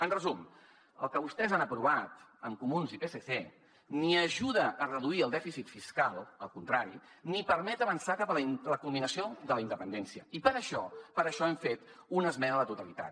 en resum el que vostès han aprovat amb comuns i psc ni ajuda a reduir el dèficit fiscal al contrari ni permet avançar cap a la culminació de la independència i per això hem fet una esmena a la totalitat